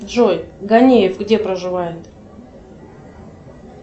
джой ганеев где проживает